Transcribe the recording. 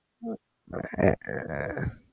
ഒരു തീരുമാന